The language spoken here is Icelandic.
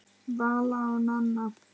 Vala og Nanna.